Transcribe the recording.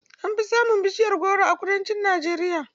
An fi samun bishiyar goro a kudancin Najeriya.